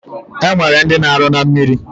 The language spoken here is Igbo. Enwere ndi na aru na mmiri